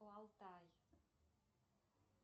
алтай